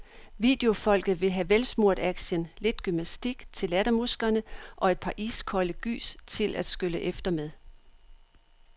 Videofolket vil have velsmurt action, lidt gymnastik til lattermusklerne og et par iskolde gys til at skylle efter med.